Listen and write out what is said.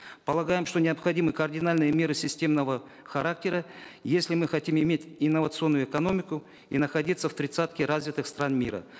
полагаем что необходимы кардинальные меры системного характера если мы хотим иметь инновационную экономику и находиться в тридцатке развитых стран мира